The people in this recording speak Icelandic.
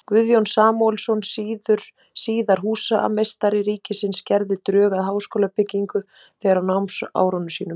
Guðjón Samúelsson, síðar húsameistari ríkisins, gerði drög að háskólabyggingu þegar á námsárum sínum.